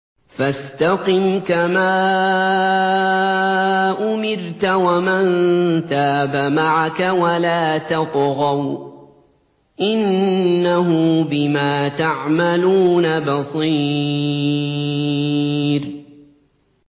فَاسْتَقِمْ كَمَا أُمِرْتَ وَمَن تَابَ مَعَكَ وَلَا تَطْغَوْا ۚ إِنَّهُ بِمَا تَعْمَلُونَ بَصِيرٌ